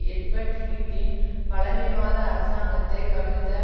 Edward ஹீத்தின் பழைமைவாத அரசாங்கத்தை கவிழ்த்த